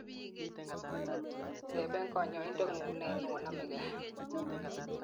teben kanyoindetngu'ng me onamegei